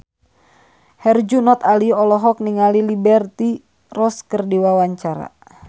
Herjunot Ali olohok ningali Liberty Ross keur diwawancara